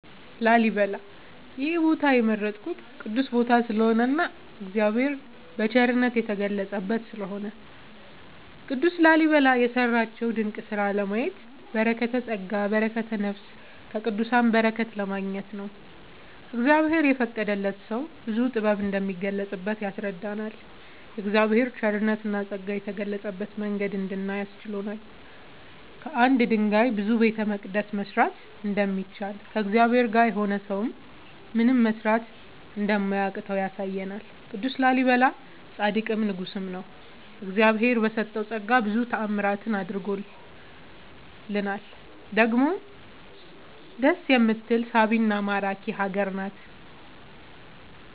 ላሊበላ ይሄን ቦታ የመረጥኩት ቅዱስ ቦታ ስለሆነ እና እግዚአብሔር የቸርነት የተገለፀበት ስለሆነ። ቅዱስ ላሊበላ የሰራቸውን ድንቅ ስራ ለማየት በረከተስጋ በረከተ ነፍስ ከቅዱሳን በረከት ለማግኘት ነው። እግዚአብሔር የፈቀደለት ሰው ብዙ ጥበብ እንደሚገለፅበት ያስረዳናል የእግዚአብሔር ቸርነትና ፀጋ የገለፀበትን መንገድ እንድናይ አስችሎናል። ከአንድ ድንጋይ ብዙ ቤተመቅደስ መስራት እንደሚቻል ከእግዚአብሔር ጋር የሆነ ሰው ምንም መስራት እንደማያቅተው ያሳየናል ቅዱስ ላሊበላ ፃድቅም ንጉስም ነው። እግዚአብሄር በሰጠው ፀጋ ብዙ ታዕምራትን አድርጓል ውሎ ደግሞ ደስ የምትል ሳቢና ማራኪ ሀገር ናት።…ተጨማሪ ይመልከቱ